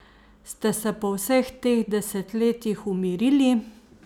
Ste se po vseh teh desetletjih umirili?